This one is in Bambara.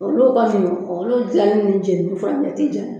Olu kɔni, olu jali ni jɛnini furancɛ tɛ janya.